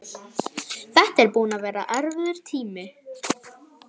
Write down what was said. Þetta væri búinn að vera erfiður tími.